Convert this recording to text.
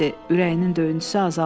Ürəyinin döyüntüsü azaldı.